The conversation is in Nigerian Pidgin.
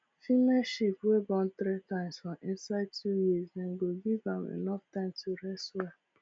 female sheep wey born three times for inside two years dem go give am enough time to rest well